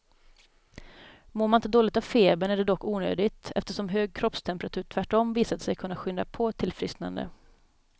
Mår man inte dåligt av febern är det dock onödigt, eftersom hög kroppstemperatur tvärtom visat sig kunna skynda på ett tillfrisknande.